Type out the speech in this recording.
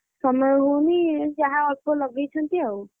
ସମୟ ହଉନି ଯାହା ଅଳ୍ପ ଲଗେଇଛନ୍ତି ଆଉ।